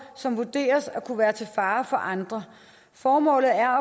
som vurderes at kunne være til fare for andre formålet er